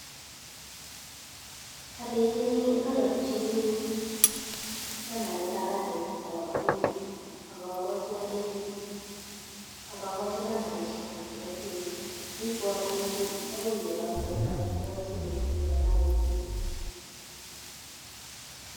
Ayakchinii nambarit ab address nebo olamenye akamwachi alechi akakachi nambarishec chuk chepo simet koibwa karit akoii olatok akobriwa simet kolecha kakoit tuguk nguk